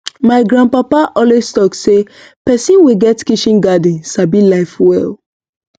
my grandpapa always talk say person wey get kitchen garden sabi life well